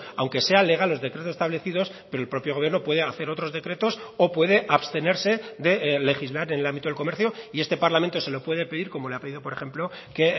aunque sean legal los decretos establecidos pero el propio gobierno puede hacer otros decretos o puede abstenerse de legislar en el ámbito del comercio y este parlamento se lo puede pedir como le ha pedido por ejemplo que